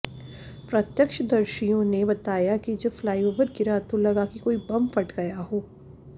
प्रत्यक्षदर्शियों ने बताया कि जब फ्लाईओवर गिरा तो लगा कि कोई बम फट गया हो